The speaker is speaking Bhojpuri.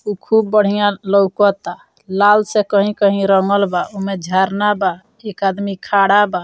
ऊ खुब बढ़िया लोउकता लाल से कहीं-कहीं रंगल बा ओमें झरना बा एक आदमी खड़ा बा।